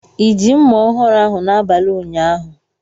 I ji mma ọhụrụ ahụ n'abalị ụnyaahụ?